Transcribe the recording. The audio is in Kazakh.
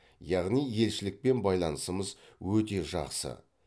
яғни елшілікпен байланысымыз өте жақсы